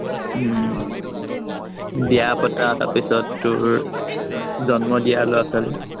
উম বিয়া পতা, তাৰপিছত তোৰ জন্ম দিয়া লৰা-ছোৱালী